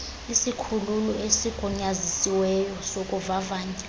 isikhululo esigunyazisiweyo sokuvavanya